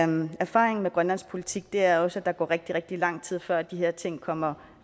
min erfaring med grønlandsk politik er også at der går rigtig rigtig lang tid før de her ting kommer